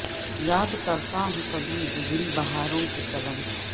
یاد کر تا ہوں کبھی گزری بہاروں کے چلن